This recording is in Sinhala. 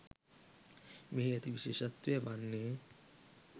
මෙහි ඇති විශේෂත්වය වන්නේ